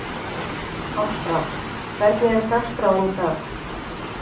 Ástvar, hvernig er dagskráin í dag?